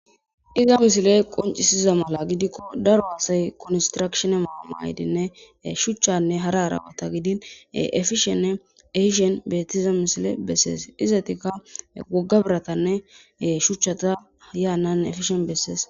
Iza misiley qoncisiza mala gidiko daro asay konstirakishine mayo mayidine shuchanne hara hara bata gidi ekishene ehishe betiza misiley beses woga biratane shuchata hane hane efishin beses